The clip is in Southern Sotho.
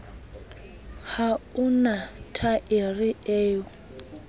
ha o na thaere eo